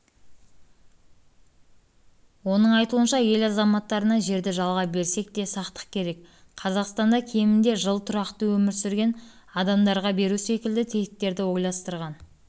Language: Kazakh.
оның айтуынша ел азаматтарына жерді жалға берсек те сақтық керек қазақстанда кемінде жыл тұрақты өмір сүрген адамдарға беру секілді тетіктерді ойластырған